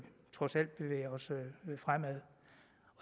trods alt bevæger os fremad